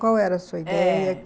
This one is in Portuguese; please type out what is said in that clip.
Qual era a sua ideia? É